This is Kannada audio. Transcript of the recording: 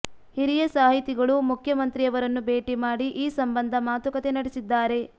ಹಿರಿಯ ಸಾಹಿತಿಗಳು ಮುಖ್ಯಮಂತ್ರಿಯವರನ್ನು ಭೇಟಿ ಮಾಡಿ ಈ ಸಂಬಂಧ ಮಾತುಕತೆ ನಡೆಸಿದ್ದಾರೆ